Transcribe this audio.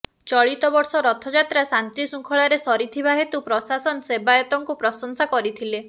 ଚଳିତ ବର୍ଷ ରଥଯାତ୍ରା ଶାନ୍ତିଶୃଙ୍ଖଳାରେ ସାରିଥିବା ହେତୁ ପ୍ରଶାସନ ସେବୟତଙ୍କୁ ପ୍ରଶଂସା କରିଥିଲେ